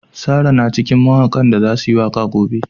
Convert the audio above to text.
Sarah na cikin mawakan da za su yi waka a gobe.